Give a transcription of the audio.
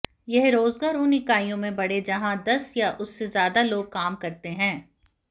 यह रोज़गार उन इकाइयों में बढ़े जहाँ दस या उससे ज़्यादा लोग काम करते हैं